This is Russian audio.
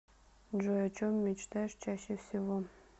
джой о чем мечтаешь чаще всего